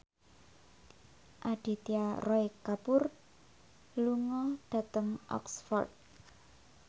Aditya Roy Kapoor lunga dhateng Oxford